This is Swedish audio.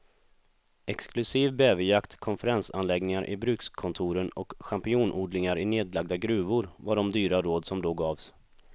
Exklusiv bäverjakt, konferensanläggningar i brukskontoren och champinjonodlingar i nedlagda gruvor var de dyra råd som då gavs.